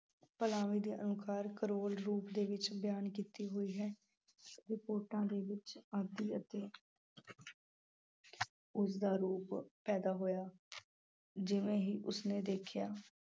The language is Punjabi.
ਦੇ ਅਨੁਸਾਰ ਕਰੋਲ ਰੂਪ ਦੇ ਵਿੱਚ ਬਿਆਨ ਕੀਤੀ ਹੋਈ ਹੈ। ਦੇ ਵਿੱਚ ਆਦਿ ਅਤੇ ਉਸਦਾ ਰੂਪ ਪੈਦਾ ਹੋਇਆ। ਜਿਵੇਂ ਹੀ ਉਸਨੇ ਦੇਖਿਆ